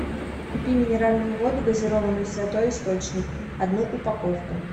купи минеральную воду газированную святой источник одну упаковку